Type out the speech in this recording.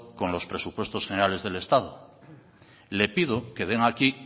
con los presupuestos generares del estado le pido que den aquí